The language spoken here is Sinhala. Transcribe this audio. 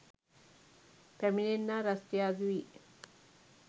පැමිණෙන්නා රස්තියාදු වී